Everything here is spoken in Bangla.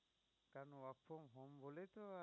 ল